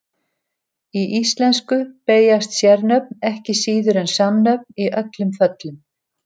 Í íslensku beygjast sérnöfn ekki síður en samnöfn í öllum föllum.